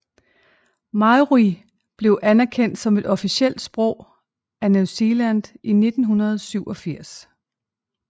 Māori blev anerkendt som et officielt sprog af New Zealand i 1987